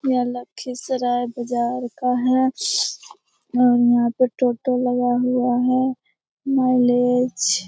यह लखीसराय बजार का है और यहाँ पे टोटो लगा हुआ है। माइलेज --